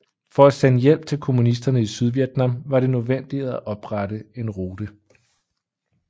For at sende hjælp til kommunisterne i Sydvietnam var det nødvendigt at oprette en rute